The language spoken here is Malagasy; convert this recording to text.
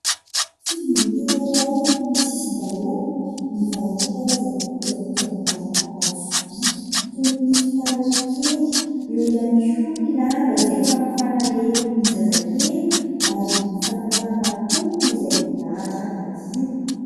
Fivarotana iray eny amin'ny sisin-dalana no mivarotra karazana kojakoja maro anaty sobiaka toy ny fitaratra kely , eo iany koa ny lamba izay famafana lelon'ny zaza kely ary ny fanapahana hoho izay milahatra madio.